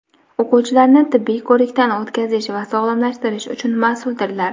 o‘quvchilarni tibbiy ko‘rikdan o‘tkazish va sog‘lomlashtirish uchun masʼuldirlar.